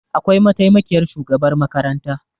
Akwai mataimakiyar shugabar makaranta